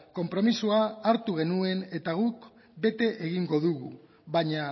konpromisoa hartu genuen eta guk bete egingo dugu baina